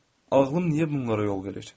Ağlım niyə bunlara yol verir?